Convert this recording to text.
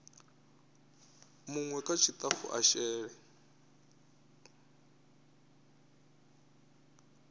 munwe kha tshitafu a shele